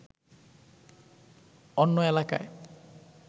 অন্য এলাকায়